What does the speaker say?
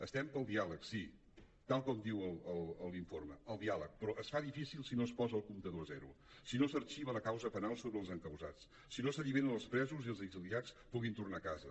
estem pel diàleg sí tal com diu l’informe el diàleg però es fa difícil si no es posa el comptador a zero si no s’arxiva la causa penal contra els encausats si no s’alliberen els presos i que els exiliats puguin tornar a casa